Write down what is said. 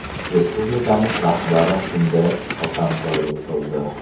Respublikamiz rahbari shunday hotamtoylik qildi.